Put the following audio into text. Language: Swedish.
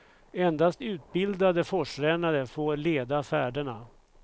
Endast utbildade forsrännare får leda färderna.